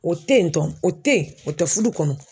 O te yen tɔn o te ye o tɛ fudu kɔnɔ.